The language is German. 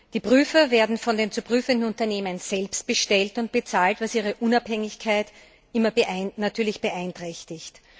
Die Prüfer werden von den zu prüfenden Unternehmen selbst bestellt und bezahlt, was ihre Unabhängigkeit natürlich beeinträchtigt.